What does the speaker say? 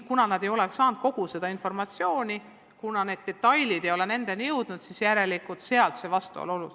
Kuna nad ei ole kogu seda informatsiooni saanud, kuna need detailid ei ole nendeni jõudnud, siis järelikult sellest see vastuseis.